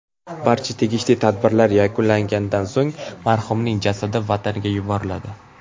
Barcha tegishli tadbirlar yakunlanganidan so‘ng marhumning jasadi vataniga yuboriladi.